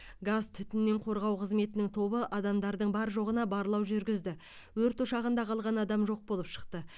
газ түтіннен қорғау қызметінің тобы адамдардың бар жоғына барлау жүргізді өрт ошағында қалған адам жоқ болып шықты